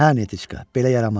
Hə, Netiçka, belə yaramaz.